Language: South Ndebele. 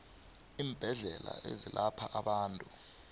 iimbedlela ezelapha abantu